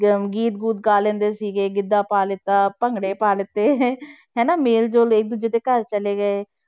ਗੀਤ ਗੂਤ ਗਾ ਲੈਂਦੇ ਸੀਗੇ, ਗਿੱਧਾ ਪਾ ਲਿੱਤਾ ਭੰਗੜੇ ਪਾ ਲਿੱਤੇ ਹਨਾ ਮੇਲ ਜੋਲ ਇੱਕ ਦੂਜੇ ਦੇ ਘਰ ਚਲੇ ਗਏ।